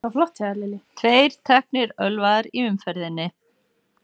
Tveir teknir ölvaðir í umferðinni